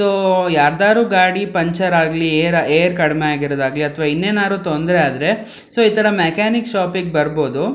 ಇದು ಯಾರದರೂ ಗಾಡಿ ಪಂಕ್ಟರ್ ಆಗಿ ಏರ್ ಕಡಿಮೆ ಆಗಿ ರೊಡಾಗ್ಲಿ ಅಥವಾ ಇನ್ನೇನಾದ್ರೂ ತೊಂದ್ರೆ ಆದ್ರೆ ಸೊ ಈ ತರ ಮೆಕ್ಯಾನಿಕ್ ಶಾಪ ಬರಬಹುದು.